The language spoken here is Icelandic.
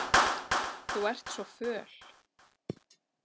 Þú ert svo föl.